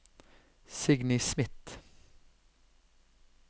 Signy Smith